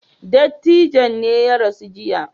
Dattijon ne ya rasu jiya.